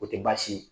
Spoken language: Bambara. O tɛ baasi ye